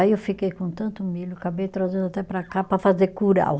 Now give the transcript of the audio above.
Aí eu fiquei com tanto milho, acabei trazendo até para cá para fazer curau.